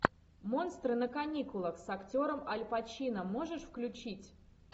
монстры на каникулах с актером аль пачино можешь включить